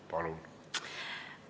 Palun!